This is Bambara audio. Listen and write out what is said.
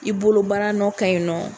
I bolo baa nɔ ka ɲi nɔ.